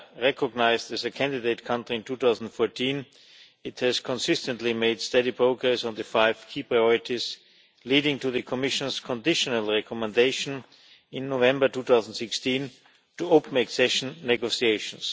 recognised as a candidate country in 2014, it has consistently made steady progress on the five key priorities leading to the Commission's conditional recommendation in November 2016 to open accession negotiations.